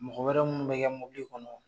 Mɔgɔ wɛrɛw minnu bɛ kɛ mobili kɔnɔ